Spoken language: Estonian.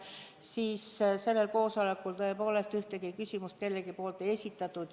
Kuid sellel koosolekul tõepoolest ühtegi küsimust keegi teine ei esitanud.